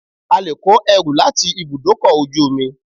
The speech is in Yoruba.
A lè kó ẹrù láti ibùdókọ̀ ojú omi.